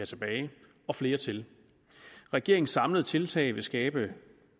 tilbage og flere til regeringens samlede tiltag vil skabe